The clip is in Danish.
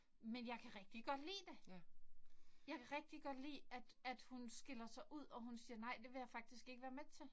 Men jeg kan rigtig godt lide det. Jeg kan rigtig godt lide at at hun skiller sig ud og hun siger nej det vil jeg faktisk ikke være med til